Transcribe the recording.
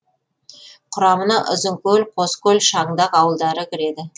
құрамына ұзынкөл қоскөл шаңдақ ауылдары кіреді